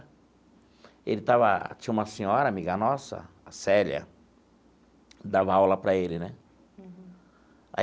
Ele estava...tinha uma senhora amiga nossa, a Célia, dava aula para ele né.